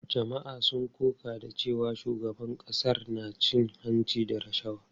Jama’a sun koka da cewa shugaban ƙasar na cin hanci da rashawa.